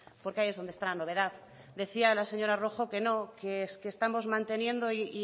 porque ahí es donde está la novedad decía la señora rojo que no que es que estamos manteniendo y